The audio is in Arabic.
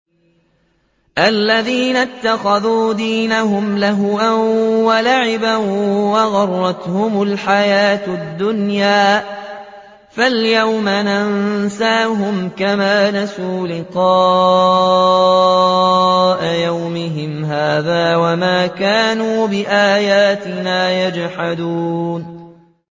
الَّذِينَ اتَّخَذُوا دِينَهُمْ لَهْوًا وَلَعِبًا وَغَرَّتْهُمُ الْحَيَاةُ الدُّنْيَا ۚ فَالْيَوْمَ نَنسَاهُمْ كَمَا نَسُوا لِقَاءَ يَوْمِهِمْ هَٰذَا وَمَا كَانُوا بِآيَاتِنَا يَجْحَدُونَ